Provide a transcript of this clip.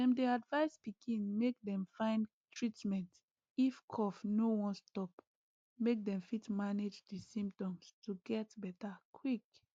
dem dey advise pikin make dem find treatment if cough no wan stop make dem fit manage di symptoms to get beta quick